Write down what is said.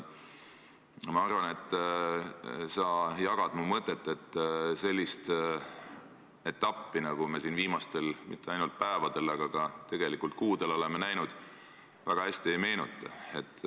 Ma arvan, et sa jagad mu mõtet, et sellist etappi, nagu me siin viimastel päevadel, tegelikult ka kuudel oleme näinud, väga hästi ei meenu.